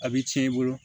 A bɛ tiɲɛ i bolo